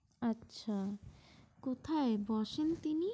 আচ্ছা কোথায় বসেন তিনি?